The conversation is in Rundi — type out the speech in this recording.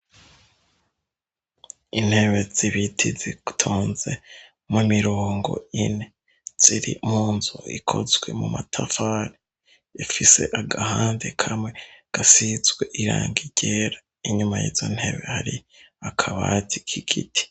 Intebe z'ibiti zitonze mu mirongo ine. Ziri mu nzu ikozwe mu matafari, ifise agahande kamwe gasizwe irangi ryera, inyuma y'izo ntebe hari akabati k'igiti.